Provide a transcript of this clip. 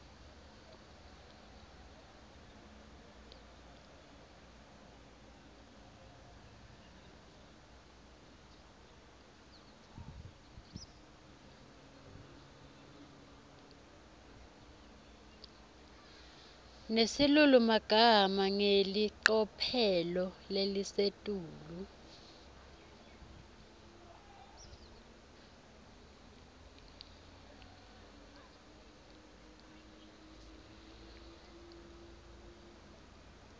nesilulumagama ngelicophelo lelisetulu